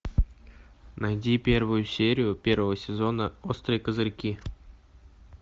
найди первую серию первого сезона острые козырьки